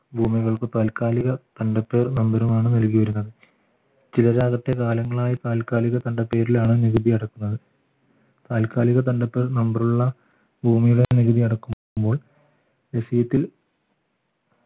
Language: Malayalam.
ഭൂമികൾക്ക് താൽക്കാലിക നമ്പറും ആണ് നൽകിയിരുന്നത് ചിലരാകട്ടെ കാലങ്ങളായി താൽക്കാലിക പേരിലാണ് നികുതി അടക്കുന്നത് താൽക്കാലിക തണ്ടപ്പേരിലുള്ള നമ്പറുള്ള ഭൂമിയുടെ നികുതി അടക്കുമ്പോൾ reciet ൽ